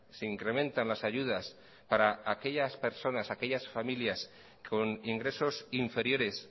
se incrementan las ayudas para aquellas personas aquellas familias con ingresos inferiores